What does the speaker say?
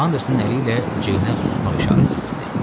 Anderson əli ilə Ceynə susmaq işarəsi verdi.